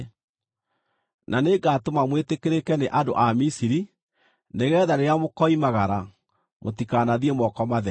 “Na nĩngatũma mwĩtĩkĩrĩke nĩ andũ a Misiri, nĩgeetha rĩrĩa mũkoimagara, mũtikanathiĩ moko matheri.